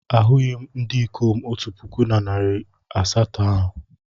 Ahụghị m ndị ikom otu puku na narị asatọ ahụ.